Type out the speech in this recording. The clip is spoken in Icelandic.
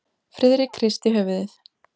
Friðrik hristi höfuðið.